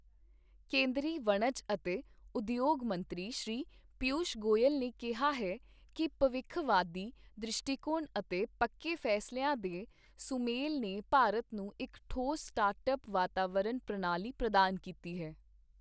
ਕੇਂਦਰੀ ਵਣਜ ਅਤੇ ਉਦਯੋਗ ਮੰਤਰੀ ਸ੍ਰੀ ਪੀਯੂਸ਼ ਗੋਇਲ ਨੇ ਕਿਹਾ ਹੈ ਕਿ ਭਵਿੱਖਵਾਦੀ ਦ੍ਰਿਸ਼ਟੀਕੋਣ ਅਤੇ ਪੱਕੇ ਫੈਸਲਿਆਂ ਦੇ ਸੁਮੇਲ ਨੇ ਭਾਰਤ ਨੂੰ ਇੱਕ ਠੋਸ ਸਟਾਰਟਅਪ ਵਾਤਾਵਰਨ ਪ੍ਰਣਾਲੀ ਪ੍ਰਦਾਨ ਕੀਤੀ ਹੈ।